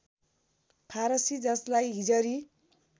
फारसी ‎जसलाई हिजरी